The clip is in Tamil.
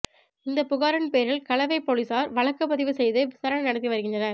இந்த புகாரின் பேரில் கலவை போலீசார் வழக்கு பதிவு செய்து விசாரணை நடத்தி வருகின்றனர்